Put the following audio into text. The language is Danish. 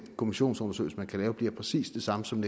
kommissionsundersøgelser man kan lave bliver præcis de samme som